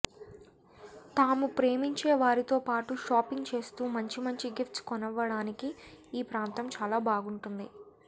తాము ప్రేమించే వారితో పాటు షాపింగ్ చేస్తూ మంచి మంచి గిఫ్ట్స్ కొనివ్వండానికి ఈ ప్రాంతం చాలా బాగుంటుంది